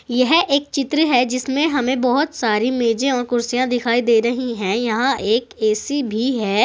यह एक चित्र है जिसमें हमें बहोत सारी मेजे और कुर्सियां दिखाई दे रही है यहां एक ए_सी भी है।